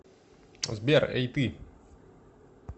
сбер эй ты